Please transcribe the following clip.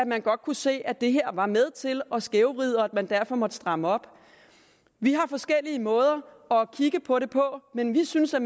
man godt se at det her var med til at skævvride og at man derfor måtte stramme op vi har forskellige måder at kigge på det på men vi synes at